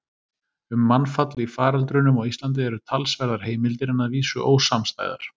Um mannfall í faröldrunum á Íslandi eru talsverðar heimildir en að vísu ósamstæðar.